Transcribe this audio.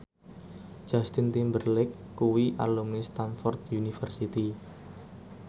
Justin Timberlake kuwi alumni Stamford University